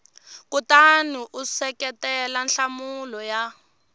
kutani u seketela nhlamulo ya